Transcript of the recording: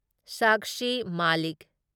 Sakshi Malik